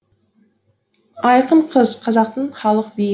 айқын қыз қазақтың халық биі